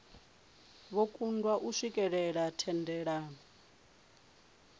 vho kundwa u swikelela thendelano